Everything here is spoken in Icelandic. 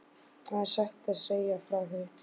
Það er saga að segja frá því.